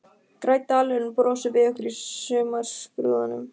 Grænn dalurinn brosir við okkur í sumarskrúðanum.